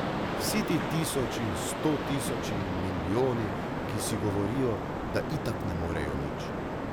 Vsi ti tisoči in stotisoči in milijoni, ki si govorijo, da itak ne morejo nič.